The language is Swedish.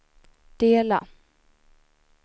dela